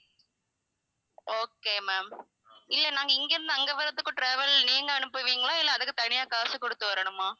okay ma'am இல்ல நாங்க இங்க இருந்து அங்க வரத்துக்கும் travel நீங்க அனுப்புவீங்களா இல்ல அதுக்கு தனியா காசு குடுத்து வரணுமா?